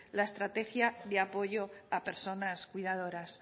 la estrategia de apoyo a personas cuidadoras